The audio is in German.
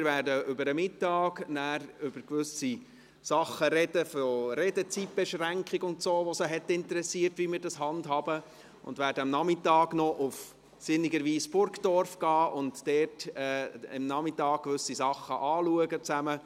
Wir werden nachher, über den Mittag, über gewisse Dinge sprechen wie die Redezeitbeschränkung, die sie interessiert hat, wie wir das handhaben, und werden am Nachmittag sinnigerweise noch nach Burgdorf gehen und dort zusammen einen Nachmittag lang gewisse Sachen anschauen.